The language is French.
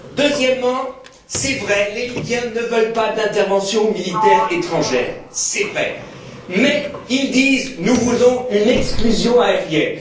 Deuxièmement, les Libyens ne veulent pas d'intervention militaire étrangère, c'est vrai. Mais ils disent nous voulons une exclusion aérienne.